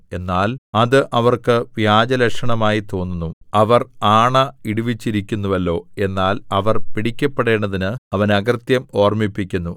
എന്നാൽ അത് അവർക്ക് വ്യാജലക്ഷണമായി തോന്നുന്നു അവർ ആണ ഇടുവിച്ചിരിക്കുന്നുവല്ലോ എന്നാൽ അവർ പിടിക്കപ്പെടേണ്ടതിന് അവൻ അകൃത്യം ഓർമ്മിപ്പിക്കുന്നു